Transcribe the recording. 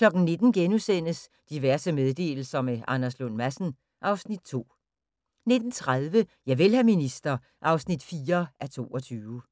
19:00: Diverse meddelelser – med Anders Lund Madsen (Afs. 2)* 19:30: Javel, hr. minister (4:22)